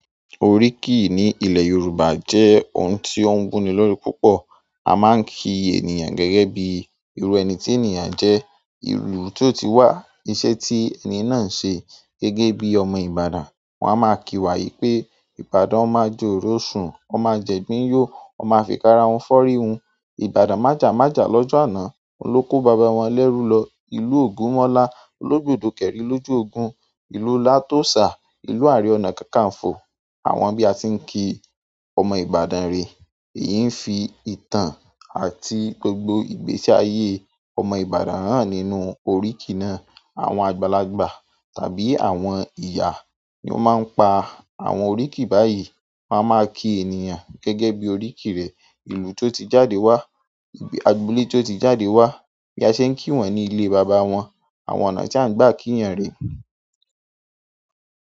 Oríkìí ní ilẹ̀ Yorùbá jẹ́ ohun tí ó ń wún ni lórí púpọ̀. A máa ń kí ènìyàn gẹ́gẹ́ bí irú ẹni tí ènìyàn jẹ́, ìlú tó ti wà, iṣẹ́ tí ẹni náà ń ṣe. Gẹ́gẹ́ bí ọmọ Ibadan, wọn a máa kí wa wí pé "Ibadan ọmọ a jọ òrò sùn, ọmọ a jẹ igbin yó, ọmọ a fi kara hun fọ́rí hun. Ibadan májà májà lọ́jọ́ àná, ohun ló kó bàbá wọn lẹ́rú lọ. Ìlú Ogunmola olodogbo kerin lo ju ogun ìlú latóṣà, ìlú àáre ọ̀nà kakanfo." Àwọn bí a ti ń kí ọmọ Ibadan re, èyí ń fi ìtàn àti gbògbò ìgbésí ayé ọmọ Ibadan hàn nínú oríkìí náà. Àwọn àgbàlagbà tàbí àwọn ìyá ni ó máa ń pa àwọn oríkìí báyìí, won a máa kí ènìyàn gẹ́gẹ́ bí oríkìí rẹ̀, ìlú tó ti jáde wá, agboolè ti o ti jáde wá. Bi a se n kii won ni ile baba won, àwọn ọ̀nà ti a n gba ki yan re.